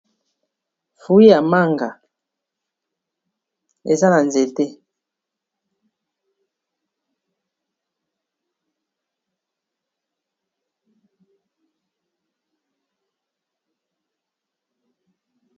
Frui ya manga eza na nzete.